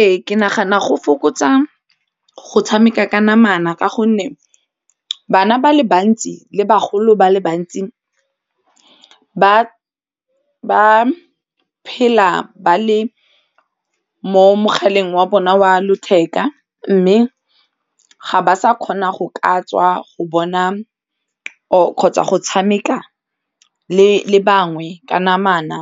Ee ke nagana go fokotsa go tshameka ka namana ka gonne bana ba le bantsi le bagolo ba le bantsi ba phela ba le mogaleng wa bona wa letheka mme ga ba sa kgona go ka tswa go bona kgotsa go tshameka le bangwe ka namana